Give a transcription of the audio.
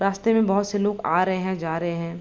रास्ते में बहोत से लोग आ रहे हें जा रहे हैं।